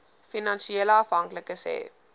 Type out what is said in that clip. finansiële afhanklikes hê